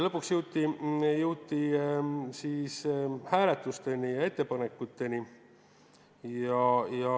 Lõpuks jõuti ettepanekute hääletuseni.